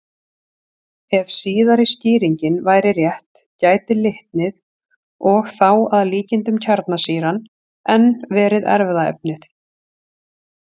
Ef síðari skýringin væri rétt gæti litnið, og þá að líkindum kjarnsýran, enn verið erfðaefnið.